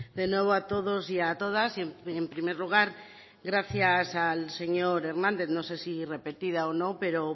de nuevo a todos y a todas y en primer lugar gracias al señor hernández no sé si repetida o no